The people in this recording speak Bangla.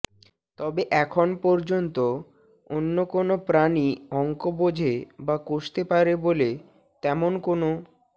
তবে এখন পর্যন্ত অন্য কোনো প্রাণী অঙ্ক বোঝে বা কষতে পারে বলে তেমন কোনো